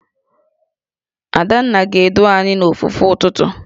Adanna ga-edu anyị n'ofufe ụtụtụ